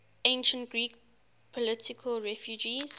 ancient greek political refugees